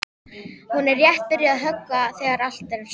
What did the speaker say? Hún er rétt byrjuð að höggva þegar allt er stopp.